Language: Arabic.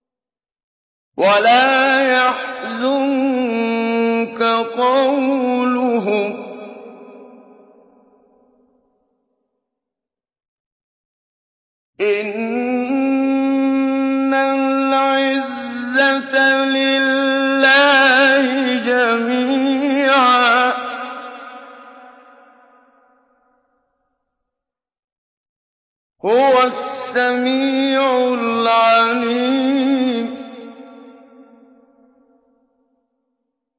وَلَا يَحْزُنكَ قَوْلُهُمْ ۘ إِنَّ الْعِزَّةَ لِلَّهِ جَمِيعًا ۚ هُوَ السَّمِيعُ الْعَلِيمُ